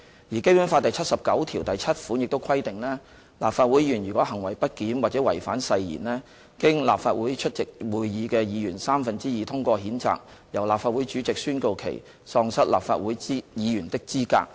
而《基本法》第七十九七條亦規定，立法會議員如果"行為不檢或違反誓言而經立法會出席會議的議員三分之二通過譴責"，由立法會主席宣告其喪失立法會議員的資格。